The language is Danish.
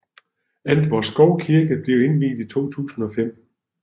Antvorskov Kirke blev indviet i 2005